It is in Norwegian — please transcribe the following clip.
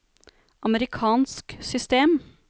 amerikansk system